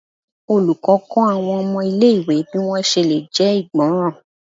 olùkó kó àwọn ọmọ ilé ìwé bi wọn ṣe lè jé ìgbọràn